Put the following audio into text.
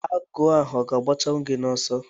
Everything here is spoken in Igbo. Agụ ọ ga-achụnwu gị oso